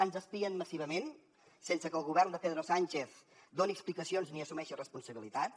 ens espien massivament sense que el govern de pedro sánchez doni explicacions ni assumeixi responsabilitats